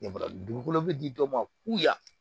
dugukolo bɛ di dɔw ma kuya